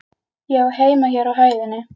Ég á heima hér á hæðinni.